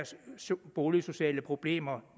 boligsociale problemer